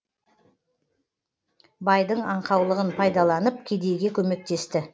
байдың аңқаулығын пайдаланып кедейге көмектесті